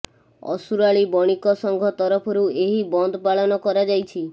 ଅସୁରାଳି ବଣିକ ସଂଘ ତରଫରୁ ଏହି ବନ୍ଦ ପାଳନ କରାଯାଇଛି